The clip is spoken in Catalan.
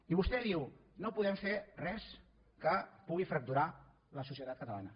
i vostè diu no podem fer res que pugui fracturar la societat catalana